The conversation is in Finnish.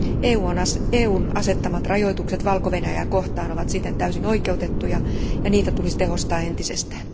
EUn asettamat rajoitukset Valko Venäjää kohtaan ovat siten täysin oikeutettuja ja niitä tulisi tehostaa entisestään.